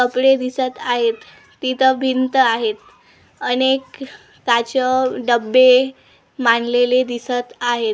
कपडे दिसत आहेत तिथे भिंत आहेत अनेक काचं डब्बे मांडलेले दिसत आहेत.